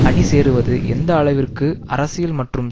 அணி சேருவது எந்த அளவிற்கு அரசியல் மற்றும்